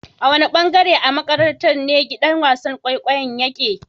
Wanne ɓangare a maƙarantar ne giɗan wasan ƙwaiƙwayon yaƙe.?